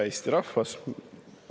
Hea Eesti rahvas!